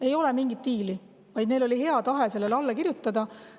Ei ole mingit diili, vaid neil oli hea tahe sellele alla kirjutada.